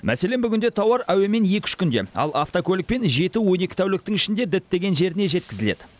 мәселен бүгінде тауар әуемен екі үш күнде ал автокөлікпен жеті он екі тәуліктің ішінде діттеген жеріне жеткізіледі